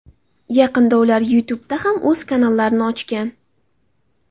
Yaqinda ular YouTube ’da ham o‘z kanallarini ochgan.